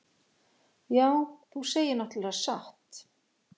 Já, þú segir náttúrlega satt.